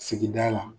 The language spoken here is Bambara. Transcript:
Sigida la